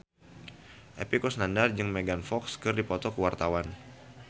Epy Kusnandar jeung Megan Fox keur dipoto ku wartawan